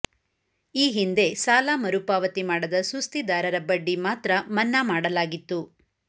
ಈ ಹಿಂದೆ ಸಾಲ ಮರುಪಾವತಿ ಮಾಡದ ಸುಸ್ಥಿದಾರರ ಬಡ್ಡಿ ಮಾತ್ರ ಮನ್ನಾ ಮಾಡಲಾಗಿತ್ತು